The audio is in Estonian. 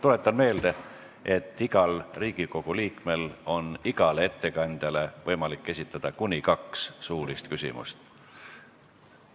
Tuletan meelde, et igal Riigikogu liikmel on igale ettekandjale võimalik esitada kuni kaks suulist küsimust.